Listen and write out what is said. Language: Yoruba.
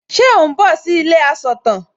Ṣe ò ń bọ̀ sí ilé asọ̀tàn?